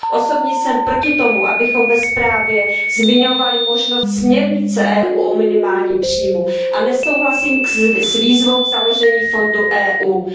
Osobně jsem proti tomu, abychom ve zprávě zmiňovali možnost směrnice Evropské unie o minimálním příjmu, a nesouhlasím s výzvou k založení fondu Evropské unie.